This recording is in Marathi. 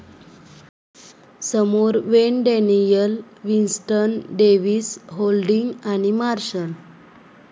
समोर Wayne Daniel, Winston Davis, Holding आणि मार्शल.